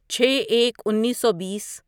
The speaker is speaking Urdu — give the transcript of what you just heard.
چھے ایک انیسو بیس